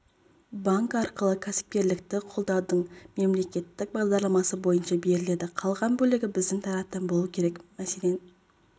банкі арқылы кәсіпкерлікті қолдаудың мемлекеттік бағдарламасы бойынша беріледі қалған бөлігі біздің тараптан болуы керек мәселен